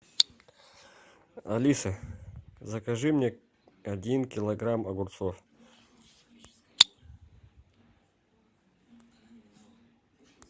алиса закажи мне один килограмм огурцов